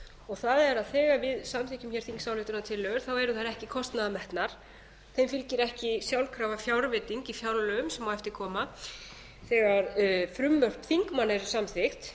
og það er að þegar við samþykkjum þingsályktunartillögur þá eru þær ekki kostnaðarmetnar þeim fylgir ekki sjálfkrafa fjárveiting í fjárlögum sem mætti koma þegar frumvörp þingmanna eru samþykkt